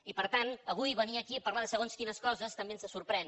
i per tant avui venir aquí a parlar de segons quines coses també ens sorprèn